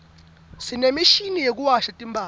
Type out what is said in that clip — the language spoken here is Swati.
sinemishini yekuwasha timphadla